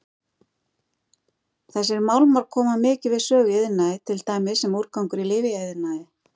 Þessir málmar koma mikið við sögu í iðnaði til dæmis sem úrgangur í lyfjaiðnaði.